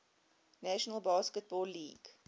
national basketball league